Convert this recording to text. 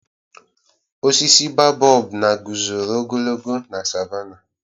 Osisi babọb na guzoro ogologo na savánàh.